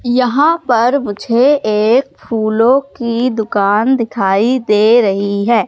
यहां पर मुझे एक फूलों की दुकान दिखाई दे रही है।